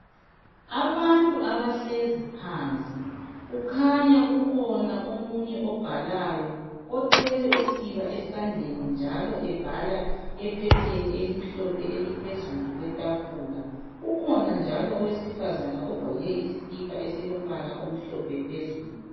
Abantu abahlezi phansi. Kukhanya kukhona omunye obhalayo othwele usiba esandleni, njalo ebhala ephepheni elimhlophe eliphezulu kwetafula. Ukhona njalo owesifazana ogqoke isikipa esilombala omhlophe phezulu.